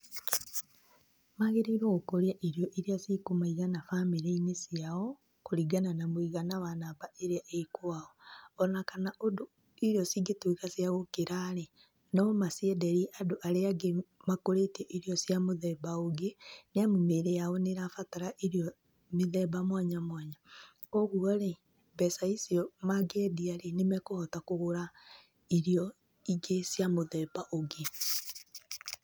Magĩrĩirwo gũkũria irio iria cikũmaigana bamĩrĩ-inĩ ciao kũringana na mũigana wa namba ĩrĩa ĩ kwao ona kana irio cingĩtuĩka cia gũkĩra rĩ nomacienderie andũ arĩa angĩ makũrĩtie irio cia mũthemba ũngĩ nĩamu mĩrĩ yao nĩrabatara irio mĩthemba mwanya mwanya, kwoguo rĩ mbeca icio mangĩendia rĩ nĩmekũhota kũgũra irio ingĩ cia mũthemba ũngĩ.